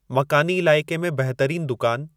मक़ानी इलाइक़े में बहितरीन दुकान